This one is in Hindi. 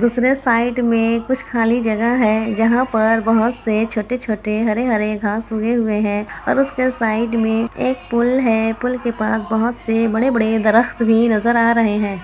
दुसरे साइड में कुछ खाली जगह है जहाँ पर बहुत से छोटे-छोटे हरे-हरे घास उगे हुए हैं और उसके साइड में एक पुल है पुल के पास बहुत से बड़े बड़े दरख्त भी नजर आ रहे हैं।